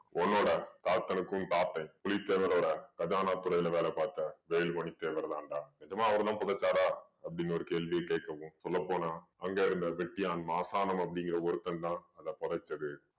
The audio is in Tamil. உன்னோட தாத்தனுக்கும் தாத்தன் புலித்தேவரோட கஜானா துறையில வேலை பாத்த வேலுமணி தேவர் தான்டா. நிஜமா அவர் தான் புதைச்சாரா அப்படீன்னு ஒரு கேள்வியை கேக்கவும் சொல்ல போனா அங்கே இருந்த வெட்டியான் மார்த்தாண்டம் அப்படிங்கற ஒருத்தன் தான் அதை புதைச்சது.